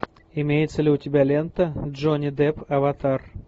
имеется ли у тебя лента джонни депп аватар